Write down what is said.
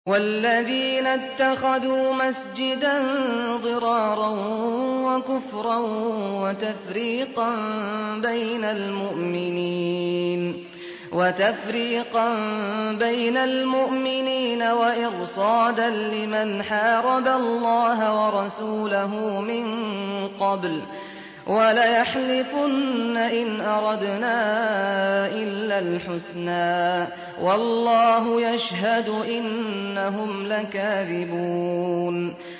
وَالَّذِينَ اتَّخَذُوا مَسْجِدًا ضِرَارًا وَكُفْرًا وَتَفْرِيقًا بَيْنَ الْمُؤْمِنِينَ وَإِرْصَادًا لِّمَنْ حَارَبَ اللَّهَ وَرَسُولَهُ مِن قَبْلُ ۚ وَلَيَحْلِفُنَّ إِنْ أَرَدْنَا إِلَّا الْحُسْنَىٰ ۖ وَاللَّهُ يَشْهَدُ إِنَّهُمْ لَكَاذِبُونَ